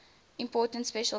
important special case